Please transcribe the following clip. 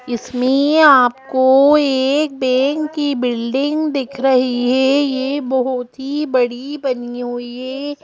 इसमें आपको एक बैंक की बिल्डिंग दिख रही है ये बहुत ही बड़ी बनी हुई है।